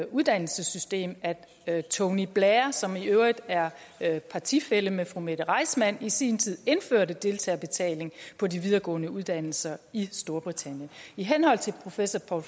uddannelsessystem at tony blair som i øvrigt er partifælle med fru mette reissmann i sin tid indførte deltagerbetaling på de videregående uddannelser i storbritannien i henhold til professor